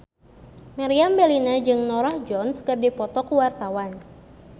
Meriam Bellina jeung Norah Jones keur dipoto ku wartawan